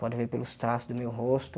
Pode ver pelos traços do meu rosto.